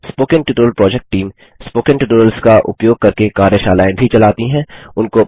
spoken tutorial project team spoken tutorials का उपयोग करके कार्यशालाएँ भी चलाती है